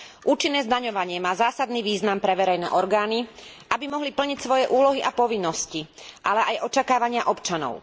Účinné zdaňovanie má zásadný význam pre verejné orgány, aby mohli plniť svoje úlohy a povinnosti, ale aj očakávania občanov.